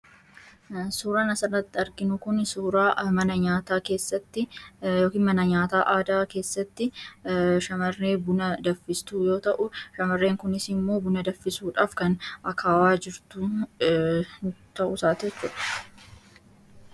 Suuraan asirratti arginu kuni suuraa mana nyaataa keessatti yookiin mana nyaataa aadaa keessatti shamarree buna danfistu yoo ta'u, shamarreen kunis immoo buna danfisuudhaaf kan akaawaa jirtu ta'uusaati jechuudha.